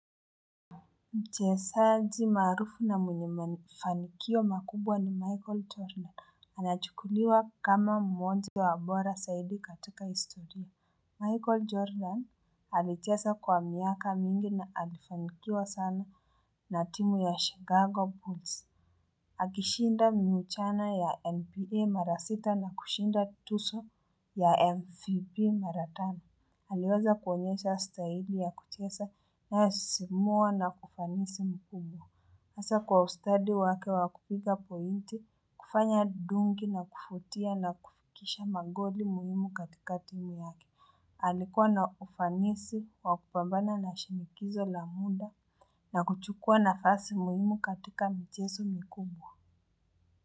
Mchezaji maarufu na mwenye mafanikio makubwa ni Michael Jordan anachukuliwa kama mmoja wa bora zaidi katika historia Michael Jordan alicheza kwa miaka mingi na alifanikiwa sana na timu ya Chicago Bulls. Akishinda miuchana ya NPA mara sita na kushinda tuzo ya MVP mara tano aliweza kuonyesha staili ya kucheza na inayosisimua na ufanisi mkubwa. Hasa kwa ustadi wake wa kupiga pointi, kufanya dunki na kufutia na kufikisha magoli muhimu katika timu yake. Alikuwa na ufanisi wa kupambana na shinikizo la muda na kuchukua nafasi muhimu katika mchezo mikubwa.